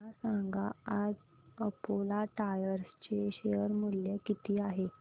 मला सांगा आज अपोलो टायर्स चे शेअर मूल्य किती आहे